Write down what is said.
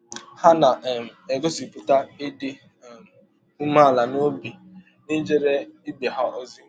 Ha na um - egọsipụta ịdị um ụmeala n’ọbi n’ijere ibe ha ọzi.